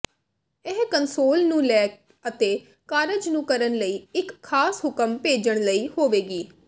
ਇਹ ਕੰਸੋਲ ਨੂੰ ਲੈ ਅਤੇ ਕਾਰਜ ਨੂੰ ਕਰਨ ਲਈ ਇੱਕ ਖਾਸ ਹੁਕਮ ਭੇਜਣ ਲਈ ਹੋਵੇਗੀ